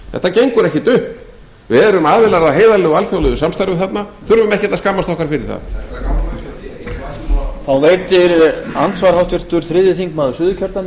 þetta gengur ekkert upp við erum aðilar að heiðarlegu alþjóðlegu samstarfi þarna og þurfum ekkert að skammast okkur fyrir það